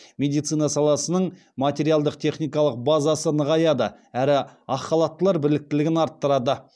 медицина саласының материалдық техникалық базасы нығаяды әрі ақ халаттылар біліктілігін арттырады